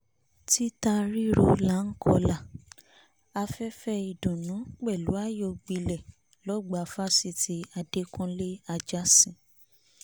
títa rírọ́ láá kó ìlà afẹ́fẹ́ ìdùnú pẹ̀lú ayọ̀ gbilẹ̀ lọ́gbà fáṣítì adẹ́kùnlé ajásín